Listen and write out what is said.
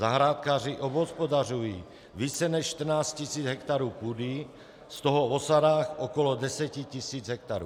Zahrádkáři obhospodařují více než 14 tisíc hektarů půdy, z toho v osadách okolo 10 tisíc hektarů.